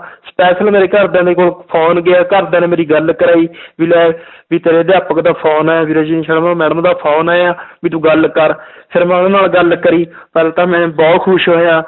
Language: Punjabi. special ਮੇਰੇ ਘਰਦਿਆਂ ਦੇ ਕੋਲ phone ਗਿਆ, ਘਰਦਿਆਂ ਨੇ ਮੇਰੀ ਗੱਲ ਕਰਵਾਈ ਵੀ ਲੈ ਵੀ ਤੇਰੇ ਅਧਿਆਪਕ ਦਾ phone ਆਇਆ ਵੀ ਰਜਨੀ ਸ਼ਰਮਾ madam ਦਾ phone ਆਇਆ ਵੀ ਤੂੰ ਗੱਲ ਕਰ ਫਿਰ ਮੈਂ ਉਹਨਾਂ ਨਾਲ ਗੱਲ ਕਰੀ ਫਿਰ ਤਾਂ ਮੈਂ ਬਹੁਤ ਖ਼ੁਸ਼ ਹੋਇਆ।